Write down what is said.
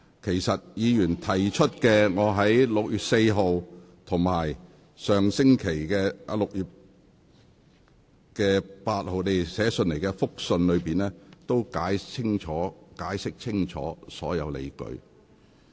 就委員提出的問題，我已分別於6月6日及6月12日向立法會議員發出函件，解釋清楚所有理據。